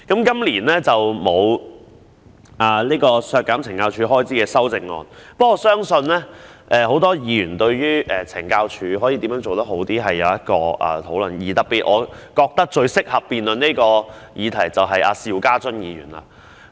雖然今年沒有削減懲教署開支的修正案，但我相信很多議員對於懲教署可如何做得更好，也是有意見的，而我認為最適合辯論這項議題的人就是邵家臻議員。